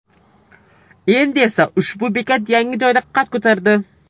Endi esa ushbu bekat yangi joyda qad ko‘tardi.